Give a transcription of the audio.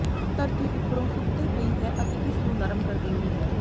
ਧਰਤੀ ਉੱਪਰੋਂ ਸੁੱਤੇ ਪਈ ਹੈ ਅਤੇ ਇਸ ਨੂੰ ਨਰਮ ਕਰ ਦਿੰਦੀ ਹੈ